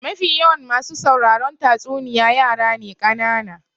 Mafi yawan masu sauraron tatsuniya yara ne kanana.